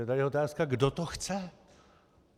Je tedy otázka, kdo to chce.